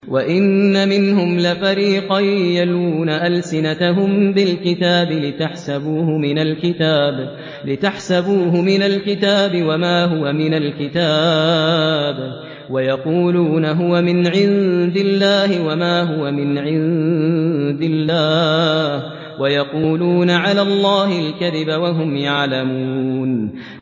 وَإِنَّ مِنْهُمْ لَفَرِيقًا يَلْوُونَ أَلْسِنَتَهُم بِالْكِتَابِ لِتَحْسَبُوهُ مِنَ الْكِتَابِ وَمَا هُوَ مِنَ الْكِتَابِ وَيَقُولُونَ هُوَ مِنْ عِندِ اللَّهِ وَمَا هُوَ مِنْ عِندِ اللَّهِ وَيَقُولُونَ عَلَى اللَّهِ الْكَذِبَ وَهُمْ يَعْلَمُونَ